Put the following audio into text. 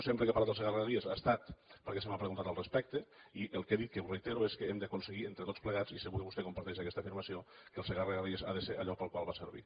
sempre que he parlat del segarra garrigues ha estat perquè se m’ha preguntat al respecte i el que he dit que ho reitero és que hem d’aconseguir entre tots plegats i segur que vostè comparteix aquesta afirmació que el segarra garrigues ha de ser allò pel qual va servir